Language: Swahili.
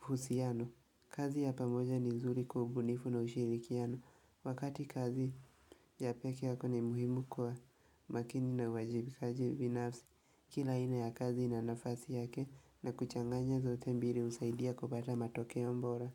husiano, kazi ya pamoja ni zuri kwaubunifu na ushirikiano Wakati kazi ya peke yako ni muhimu kwa makini na wajibikaji binafsi Kila aina ya kazi na nafasi yake na kuchanganya zote mbili usaidia kubata matokeo mbora.